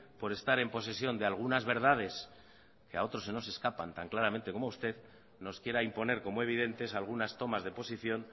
por estar en posesión de algunas verdades que a otros se nos escapan tan claramente como usted nos quiera imponer como evidentes algunas tomas de posición